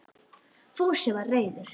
Fúsi var reiður.